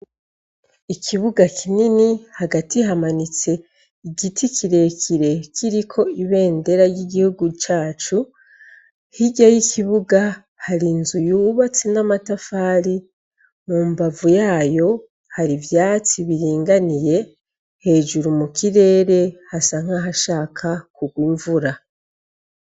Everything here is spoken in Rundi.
Ikibuga kinini hagati hamanitse igiti kirekire kiriko ibendera y'igihugu cacu hirya y'ikibuga hari nzu yubatse n'amatafari mu mbavu yayo hari ivyatsi biringaniye hejuru mu kirere hasanka ha shaka kugumvura.